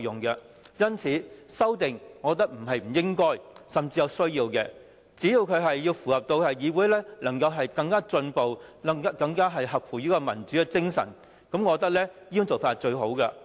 因此，我覺得修訂是應該甚至是有需要的，只要符合議會能夠更進步、更合乎民主精神，我覺得這種做法是最好的。